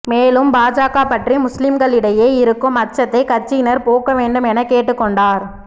மேலும் பாஜக பற்றி முஸ்லிம்களிடையே இருக்கும் அச்சத்தை கட்சியினர் போக்க வேண்டும் என கேட்டுக்கொண்டார்